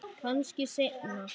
Kannski seinna.